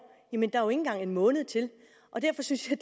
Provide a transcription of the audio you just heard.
jamen der ikke engang en måned til og derfor synes jeg